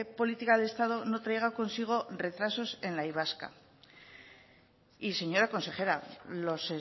política de estado no traiga consigo retrasos en la y vasca y señora consejera los